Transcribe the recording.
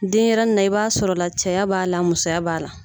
Denyɛrɛni na i b'a sɔrɔ la cɛya b'a la musoya b'a la.